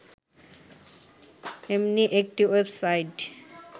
এমনি একটি ওয়েবসাইট